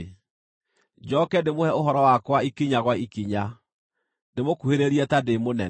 Njooke ndĩmũhe ũhoro wakwa ikinya gwa ikinya; ndĩmũkuhĩrĩrie ta ndĩ mũnene.)